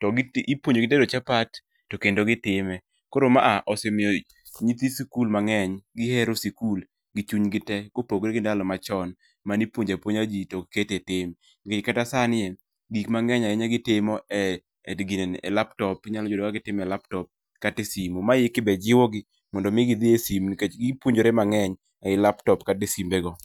to iipuonjogi tedo chapat to kendo gitime. Koro mae osemiyo nyithi sikul mang'eny gihero sikul gi chunygi te kopogore gi ndalo machon mane ipuonjo apuonja ji to ok ket etim. Nikech kata sanie gik mang'eny ahinya negitimo e ginene e laptop, inyalo yudo ka gitimo e laptop kata e simu. Ma eki be jiwogi mondo mi gidhi e sime nikech gipuonjore mang#eny ei laptop kata e simego.